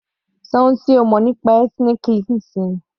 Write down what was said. Ṣọ ohun tí o mọ̀ nípa ethnic cleansing.